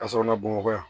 Ka sɔrɔ bamakɔ yan